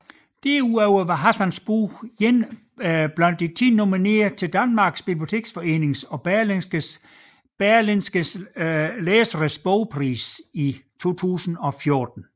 Derudover var Hassans bog en blandt 10 nominerede til Danmarks Biblioteksforening og Berlingskes Læsernes bogpris 2014